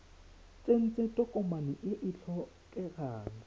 tsentse tokomane e e tlhokegang